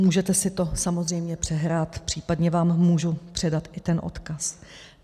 Můžete si to samozřejmě přehrát, případně vám můžu předat i ten odkaz.